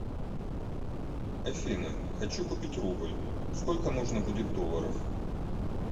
афина хочу купить рубль сколько нужно будет долларов